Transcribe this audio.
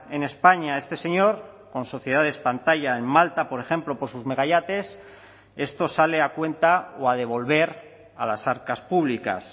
en españa este señor con sociedades pantalla en malta por ejemplo por sus megayates esto sale a cuenta o a devolver a las arcas públicas